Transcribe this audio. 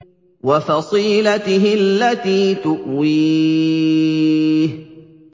وَفَصِيلَتِهِ الَّتِي تُؤْوِيهِ